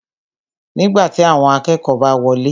Nígbàtí, awọn akẹ́kọ̀ọ́ bá wọlé